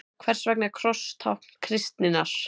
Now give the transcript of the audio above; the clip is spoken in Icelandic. Hvers vegna er kross tákn kristninnar?